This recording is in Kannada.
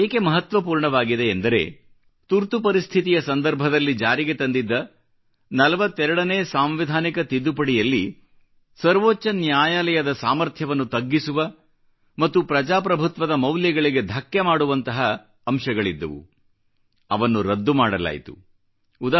ಇದು ಏಕೆ ಮಹತ್ವಪೂರ್ಣವಾಗಿದೆ ಎಂದರೆ ತುರ್ತು ಪರಿಸ್ಥಿತಿಯ ಸಂದರ್ಭದಲ್ಲಿ ಜಾರಿಗೆ ತಂದಿದ್ದ 42 ನೇ ಸಾಂವಿಧಾನಿಕ ತಿದ್ದುಪಡಿಯಲ್ಲಿ ಸರ್ವೋಚ್ಚ ನ್ಯಾಯಾಲಯದ ಸಾಮಥ್ರ್ಯವನ್ನು ತಗ್ಗಿಸುವ ಮತ್ತು ಪ್ರಜಾಪ್ರಭುತ್ವದ ಮೌಲ್ಯಗಳಿಗೆ ಧಕ್ಕೆ ಉಂಟು ಮಾಡುವಂತಹ ಅಂಶಗಳಿದ್ದವು ಅವನ್ನು ರದ್ದು ಮಾಡಲಾಯಿತು